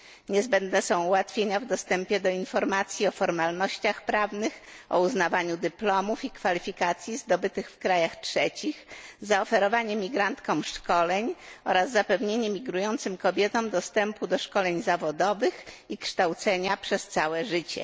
Niezbędne są ułatwienia w dostępie do informacji o formalnościach prawnych, o uznawaniu dyplomów i kwalifikacji zdobytych w krajach trzecich, zaoferowanie migrantkom szkoleń oraz zapewnienie migrującym kobietom dostępu do szkoleń zawodowych i kształcenia przez całe życie.